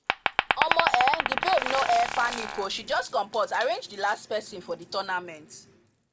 omo um the babe no um panic o she just comport arrange the last person for the tournament